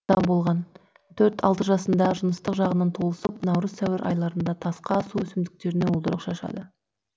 төрт алты жасында жыныстық жағынан толысып наурыз сәуір айларында тасқа су өсімдіктеріне уылдырық шашады